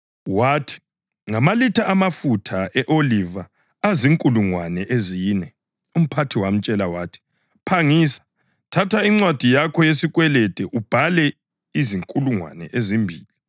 Wathi, ‘Ngamalitha amafutha e-oliva azinkulungwane ezine.’ Umphathi wamtshela wathi, ‘Phangisa, thatha incwadi yakho yesikwelede ubhale izinkulungwane ezimbili.’